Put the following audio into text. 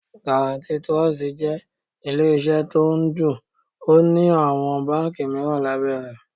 Garatí Tirọsitì jẹ́ ilé iṣẹ́ tó ń Ódù, ó ní àwọn báńkì mìíràn lábẹ́ rẹ̀.